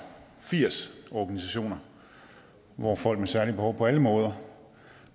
firs organisationer hvor folk med særlige behov på alle måder